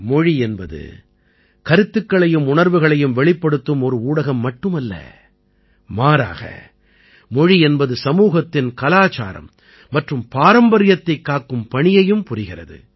மொழி என்பது கருத்துக்களையும் உணர்வுகளையும் வெளிப்படுத்தும் ஒரு ஊடகம் மட்டும் அல்ல மாறாக மொழி என்பது சமூகத்தின் கலாச்சாரம் மற்றும் பாரம்பரியத்தைக் காக்கும் பணியையும் புரிகிறது